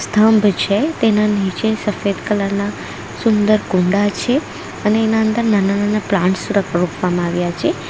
થંભ છે તેના નીચે સફેદ કલરના સુંદર કુંડા છે અને એના અંદર નાના નાના પ્લાન્ટ્સ ર રોપવામાં આવ્યા છે.